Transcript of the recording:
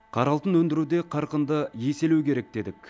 қара алтын өндіруде қарқынды еселеу керек дедік